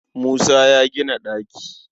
Musa zai gina ɗaki.